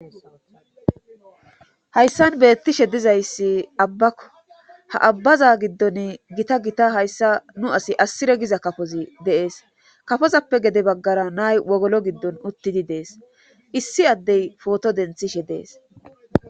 Hayssan beettishe dizayssi abbakko ha abbaza giddon gita gita hayssa nu asi asire giza kafozi deees kafozappe gede baggara nay wogolo giddon uttidi dees issi addey pooto denthishe dees.